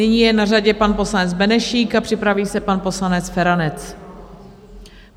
Nyní je na řadě pan poslanec Benešík a připraví se pan poslanec Feranec.